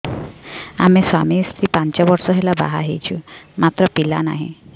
ଆମେ ସ୍ୱାମୀ ସ୍ତ୍ରୀ ପାଞ୍ଚ ବର୍ଷ ହେଲା ବାହା ହେଇଛୁ ମାତ୍ର ପିଲା ନାହିଁ